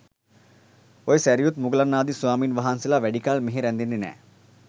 ඔය සැරියුත් මුගලන් ආදී ස්වාමීන් වහන්සේලා වැඩිකල් මෙහෙ රැඳෙන්නේ නෑ.